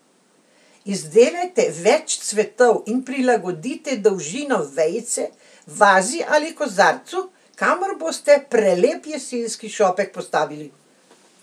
Izdelajte več cvetov in prilagodite dolžino vejice vazi ali kozarcu, kamor boste prelep jesenski šopek postavili.